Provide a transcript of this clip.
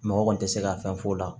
Mɔgɔ kɔni tɛ se ka fɛn f'o la